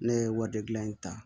Ne ye wari gilan in ta